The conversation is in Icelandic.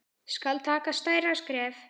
Skal taka stærra skref?